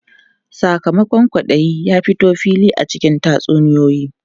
Sakamakon kwaɗayi ya fito fili a cikin tatsuniyoyi.